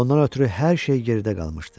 Ondan ötrü hər şey geridə qalmışdı.